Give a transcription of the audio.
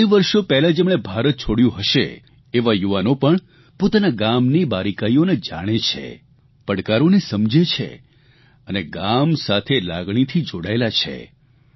કેટલાય વર્ષો પહેલાં જેમણે ભારત છોડ્યું હશે તેવા યુવાનો પણ પોતાના ગામની બારીકાઇઓને જાણે છે પડકારનો સમજે છે અને ગામ સાથે લાગણીથી જોડાયેલા છે